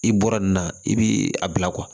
I bɔra nin na i bi a bila